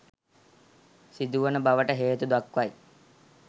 සිදුවන බවට හේතුදක්වයි.